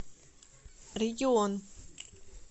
регион